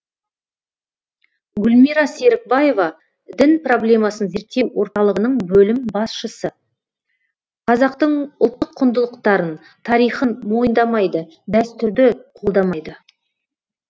гүлмира серікбаева дін проблемасын зерттеу орталығының бөлім басшысы қазақтың ұлттық құндылықтарын тарихын мойындамайды дәстүрді қолдамайды